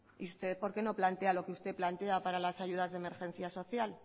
y usted por qué no plantea lo que usted plantea para las ayudas de emergencia social